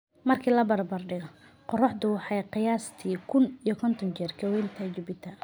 Marka la barbardhigo, qorraxdu waxay qiyaastii kuun iyo konton jeer ka weyn tahay Jupiter.